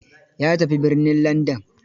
Ya tafi birnin Landan.